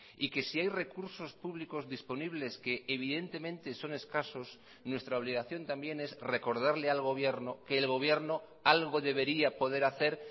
y que si hay recursos públicos disponibles que evidentemente son escasos nuestra obligación también es recordarle al gobierno que el gobierno algo debería poder hacer